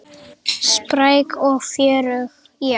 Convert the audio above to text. Spræk og fjörug, já.